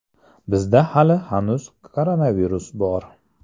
Bizda hali hanuz koronavirus bor.